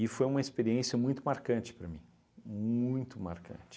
foi uma experiência muito marcante para mim, muito marcante.